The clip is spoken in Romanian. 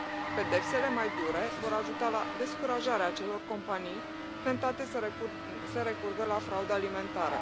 Pedepsele mai dure vor ajuta la descurajarea acelor companii tentate să recurgă la fraudă alimentară.